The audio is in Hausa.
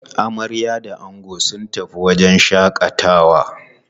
Amarya da ango sun tafi wajen shaƙatawa.